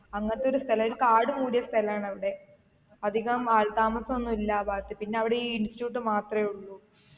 അങ്ങനത്തെ ഒരു സ്ഥല ഒരു കാട് മൂടിയ സ്ഥലാണ് അവിടെ അധികം ആൾ താമസം ഒന്നുല്ല ആ ഭാഗത്ത് പിന്നെ അവിടെ ഈ institute മാത്രേ ഉള്ളു